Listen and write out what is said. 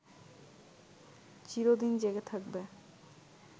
চিরদিন জেগে থাকবে